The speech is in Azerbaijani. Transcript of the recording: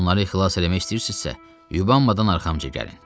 Onları xilas eləmək istəyirsinizsə, yubanmadan arxamca gəlin.